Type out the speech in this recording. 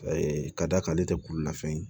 Ayi ka d'a kan ale tɛ kululafɛn ye